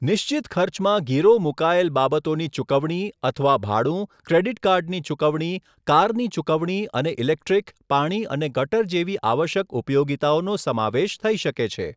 નિશ્ચિત ખર્ચમાં ગીરો મુકાયેલ બાબતોની ચૂકવણી અથવા ભાડું, ક્રેડિટ કાર્ડની ચૂકવણી, કારની ચૂકવણી અને ઇલેક્ટ્રિક, પાણી અને ગટર જેવી આવશ્યક ઉપયોગિતાઓનો સમાવેશ થઈ શકે છે.